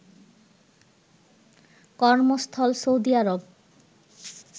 কর্মস্থল সৌদি আরব